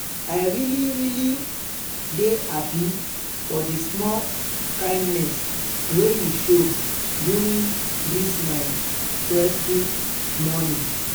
i really really dey happy for the small kindness wey you show during this my stressful morning.